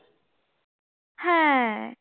হ্যাঁ